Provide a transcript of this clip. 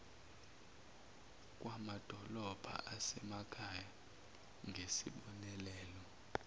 kwamadolobha asemakhaya ngezibonelelo